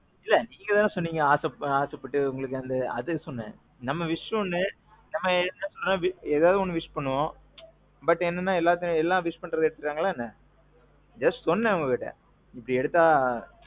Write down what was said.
இல்ல. நீங்க தானே சொன்னிங்க நீங்க ஆசைப்பட்டு உங்களுக்கு அதுக்காகத்தான் சொன்னேன். நம்ம wish ஒன்னு. நம்ம எப்பவுமே ஏதாவது ஒண்ணு wish பண்ணுவோம். but, எல்லாம் wish பண்ணத எடுத்துட்டாங்களா என்ன. Just சொன்னேன் உங்க கிட்ட. இப்போ எடுத்தா.